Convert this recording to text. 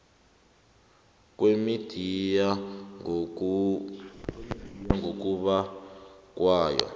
kwemidiya ngokunaba kwayo